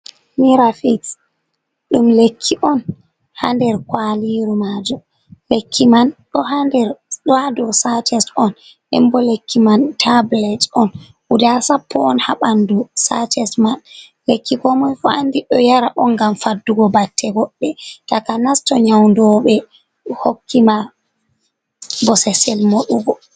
Mirafiks ɗum lekki'on ha nder kwaliru majum. Lekki man ɗo ha nder ɗon ha dou Sacet'on nden bo lekki man Tabulet'on. guda Sappo'on ha ɓandu Sacet man. Lekki komoifu andi ɗo yara'on ngam Faddugo batte godɗe, takanas to Nyaundoɓe hokki ma bosesel Moɗugo.